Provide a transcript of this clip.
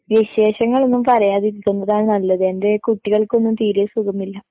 വിശേഷങ്ങൾ ഒന്നും പറയാതിരിക്കുന്നതാ നല്ലത്, എൻ്റെ കുട്ടികൾക്കൊന്നും തീരെ സുഖമില്ല